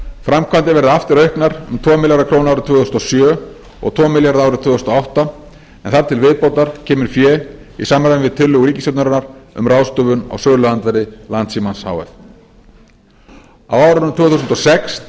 framkvæmdir verði aftur auknar um tvo milljarða króna árið tvö þúsund og sjö og tvo milljarða árið tvö þúsund og átta en þar til viðbótar kemur fé í samræmi við tillögu ríkisstjórnarinnar um ráðstöfun á söluandvirði landssímans h f á árunum tvö þúsund og sex